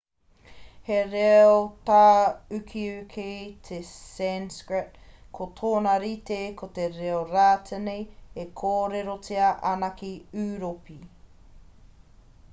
he reo tāukiuki te sanskrit ko tōna rite ko te reo rātini e kōrerotia ana ki ūropi